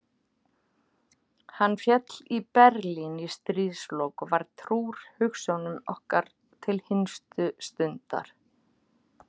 Hann féll í Berlín í stríðslok og var trúr hugsjónum okkar til hinstu stundar.